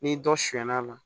N'i dɔ sɛnɛna